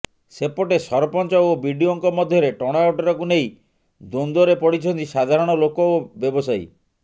ସେପଟେ ସରପଞ୍ଚ ଓ ବିଡିଓଙ୍କ ମଧ୍ୟରେ ଟଣାଓଟରାକୁ ନେଇ ଦ୍ୱନ୍ଦ୍ୱରେ ପଡିଛନ୍ତି ସାଧାରଣ ଲୋକ ଓ ବ୍ୟବସାୟୀ